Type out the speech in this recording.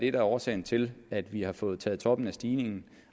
er årsagen til at vi har fået taget toppen af stigningen